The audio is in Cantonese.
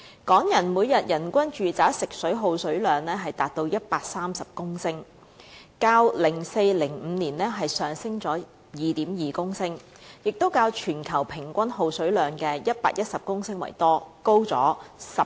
港人的每天人均住宅食水耗水量達到130公升，較 2004-2005 年度上升了 2.2 公升，亦較全球平均耗水量的110公升為多，高出 18%。